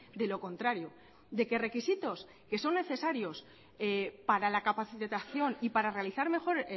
de lo contrario de que requisitos que son necesarios para la capacitación y para realizar mejor